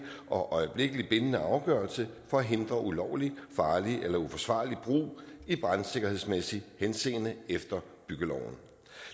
og øjeblikkelig bindende afgørelse for at hindre ulovlig farlig eller uforsvarlig brug i brandsikkerhedsmæssigt henseende efter byggeloven